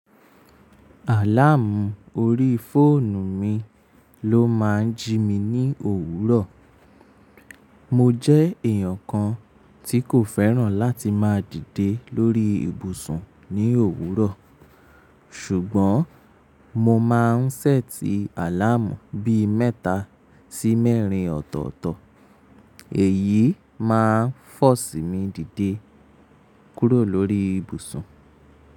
Àláàmù orí fóònù mi ló máa ń jí mi ní òwúrọ̀. Mo jẹ́ èèyàn kan tí kò fẹ́ràn láti máa dìde lórí ibùsùn ní òwúrọ̀, ṣùgbọ́n mo máa ń ṣẹ́tì àláàmù bí mẹ́ta sí mẹ́rin ọ̀tọ̀ọ̀tọ̀, èyí máa ń fọ̀ si mi dìde kúrò lórí ibùsùn.